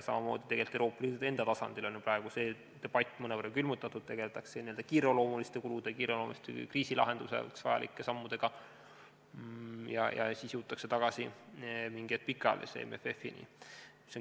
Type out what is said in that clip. Samamoodi tegelikult Euroopa Liidu enda tasandil on see debatt praegu mõnevõrra külmutatud, tegeletakse eelkõige kiireloomuliste kulude ja kriisi lahendamiseks vajalike sammudega, eks mingi hetk jõutakse tagasi ka pikaajalise MFF-ini.